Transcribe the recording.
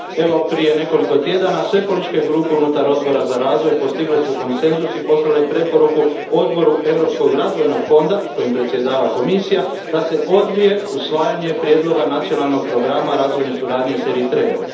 Evo prije nekoliko tjedana, sve političke grupe unutar Odbora za razvoj postigle su konsenzus i poslale preporuku Odboru Europskog razvojnog fonda, kojim predsjedava Komisija, da se odbije usvajanje prijedloga nacionalnog programa razvojne suradnje s Eritrejom.